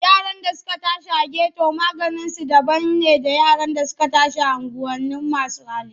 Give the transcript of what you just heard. Yaran da suka tashi a geto maganinsu daban ne da yara da suka tashi a unguwanin masu hali.